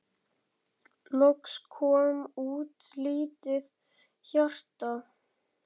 Loks kom út lítið hjarta